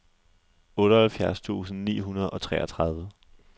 otteoghalvfjerds tusind ni hundrede og treogtredive